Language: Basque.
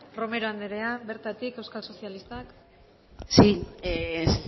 romero andrea bertatik eusko sozialistak